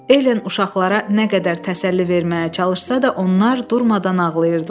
Elen uşaqlara nə qədər təsəlli verməyə çalışsa da, onlar durmadan ağlayırdılar.